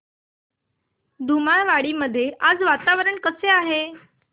धुमाळवाडी मध्ये आज वातावरण कसे आहे